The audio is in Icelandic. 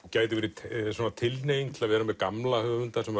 gæti verið tilhneiging til að vera með gamla höfunda sem